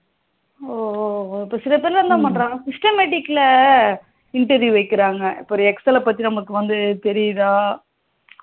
oh oh oh இப்போ சில பேர்லாம் என்ன பண்ணுறாங்க systematic interview வைக்குறாங்க இப்போ ஒரு excel பத்தி நமக்கு தெரிதா